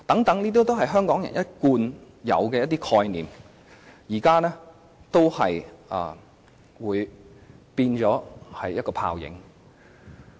這些香港人一貫抱有的權利概念，到時均會變成泡影。